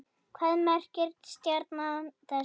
Hvað merkir stjarna þessi?